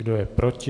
Kdo je proti?